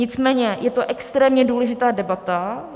Nicméně, je to extrémně důležitá debata.